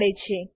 મળે છે